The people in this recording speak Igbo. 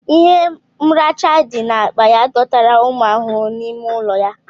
Ihe mracha dị n'akpa ya dọtara ụmụ ahụhụ n'ime ụlọ ya